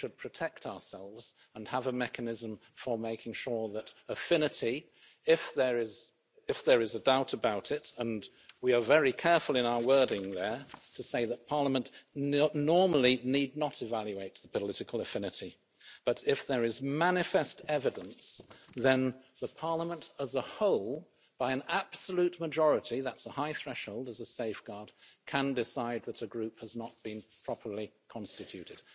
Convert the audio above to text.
We should protect ourselves and have a mechanism for making sure that affinity if there is a doubt about it and we are very careful in our wording there to say that Parliament normally need not evaluate political affinity but if there is manifest evidence, then Parliament as a whole, by an absolute majority that's a high threshold as a safeguard can decide that a group has not been properly constituted.